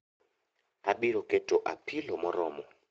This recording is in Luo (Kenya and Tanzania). Abiro keto apilo moromo